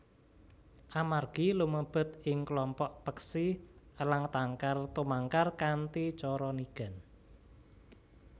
Amargi lumebet ing klompok peksi elang tangkar tumangkar kanthi cara nigan